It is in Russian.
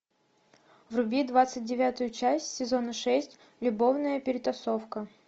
вруби двадцать девятую часть сезона шесть любовная перетасовка